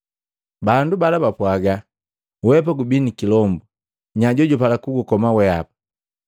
Bandu bala bapwaaga, “Wehapa gubii ni kilombu. Nya jojupala kugukoma weapa?”